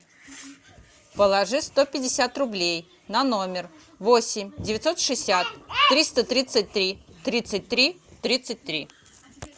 положи сто пятьдесят рублей на номер восемь девятьсот шестьдесят триста тридцать три тридцать три тридцать три